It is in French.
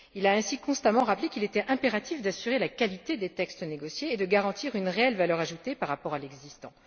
Il a ainsi constamment rappelé qu'il était impératif d'assurer la qualité des textes négociés et de garantir une réelle valeur ajoutée par rapport au texte existant.